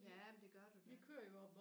Jamen det gør du da